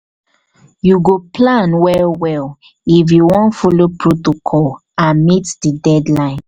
you go plan well-well if you wan folo protocol and meet di deadline.